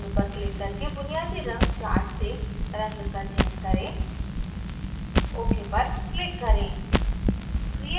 रंग पर click करके बुनियादी रंग chart से रंग का चयन करें ok button पर click करें